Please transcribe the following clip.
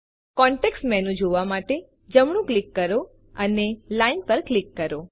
context menu જોવા માટે જમણું ક્લિક કરો અને લાઇન પર ક્લિક કરો